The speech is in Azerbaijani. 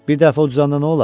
Bir dəfə uduzanda nə olar?